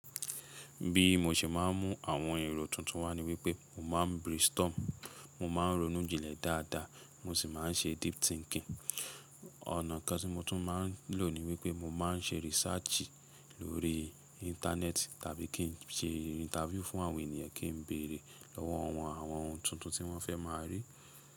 Bí mo ṣe máa ń mú àwọn èrò tuntun wá ni wípé mo máa ń brainstorm, mo máa ń ronú jinlẹ̀ dáadáa, mo sì máa ń ṣe deep thinking. Ọ̀nà kan tí mo tún máa ń lò ni wípé mo máa ń ṣe research lórí Íńtánẹ́ẹ̀tì tàbí kí n ṣe interview fún àwọn ènìyàn kí n bèrè lọ̀wọ̀ wọn àwọn ohun tuntun tí wọ́n fẹ́ máa rí.